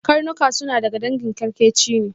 Karnuka suna daga dangin kyarkeci ne.